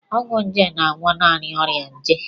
Ọgwụ nje na-agwọ naanị ọrịa nje.